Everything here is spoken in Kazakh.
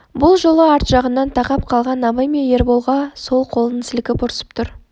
бұл жолы арт жағынан тақап қалған абай мен ерболға сол қолын сілкіп ұрсып тұр